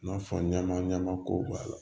I n'a fɔ ɲaman ɲamanko b'a la